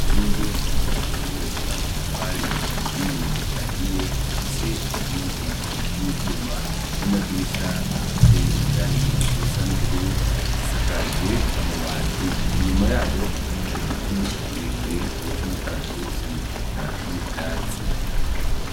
Inzu yubakishijwe amatafari aturiye ahiye ifise inkingi z'ivyuma n'amadirisha afise irangi risa n'ubururu isakaje amabati inyuma yayo hari giti ikirekire c'umukaratusi reka n'ivyatsi.